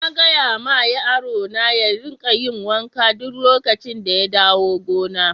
Na gaya ma yaro na ya rika yin wanka duk lokacin da ya dawo gona.